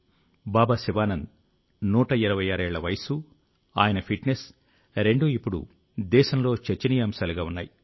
బాబా శివానంద్ 126 ఏళ్ల వయస్సు ఆయన ఫిట్నెస్ రెండూ ఇప్పుడు దేశంలో చర్చనీయాంశాలుగా ఉన్నాయి